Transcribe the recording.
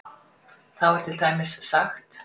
Þá er til dæmis sagt